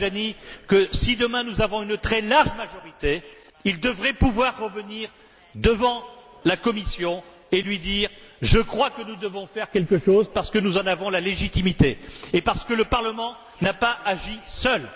à M. Tajani que, si demain nous avons une très large majorité, il devrait pouvoir revenir devant la Commission et lui dire Je crois que nous devons faire quelque chose, parce que nous en avons la légitimité et parce que le Parlement n'a pas agi seul